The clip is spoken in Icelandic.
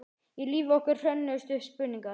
Í lífi okkar hrönnuðust upp spurningar.